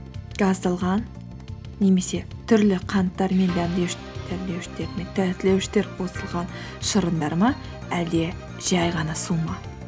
газдалған немесе түрлі қанттар мен қосылған шырындар ма әлде жай ғана су ма